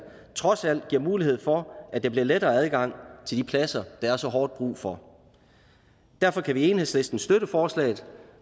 trods alt giver mulighed for at der bliver lettere adgang til de pladser der er så hårdt brug for derfor kan vi i enhedslisten støtte forslaget